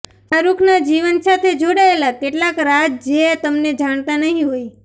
શાહરુખના જીવન સાથે જોડાયેલા કેટલાંક રાજ જે તમને જાણતા નહી હોય